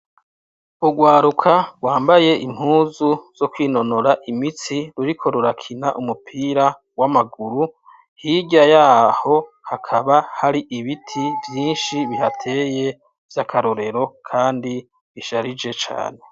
Urwaruka rwambaye impuzu zo kwinonora imitsi ruriko rurakina umupira w'amaguru hirya yaho hakaba hari ibiti vyinshi bihateye vyakarorero kandi bisharije cane